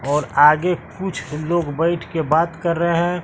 और आगे कुछ लोग बैठ के बात कर रहे हैं।